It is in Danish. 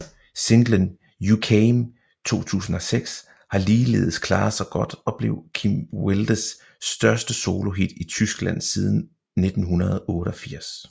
Singlen You Came 2006 har ligeledes klaret sig godt og blev Kim Wildes største solohit i Tyskland siden 1988